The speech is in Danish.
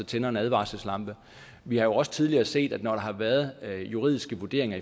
tænder en advarselslampe vi har jo også tidligere set når der har været juridiske vurderinger